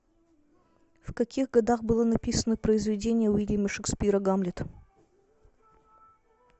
в каких годах было написано произведение уильяма шекспира гамлет